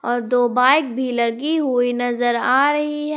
और दो बाइक भी लगी हुई नजर आ रही है।